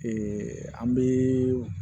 an bɛ